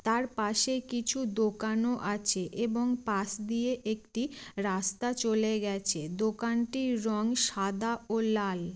তার পাশে কিছু দোকানও আছে এবং পাশ দিয়ে একটি রাস্তা চলে গেছে। দোকানটির রং সাদা ও লাল।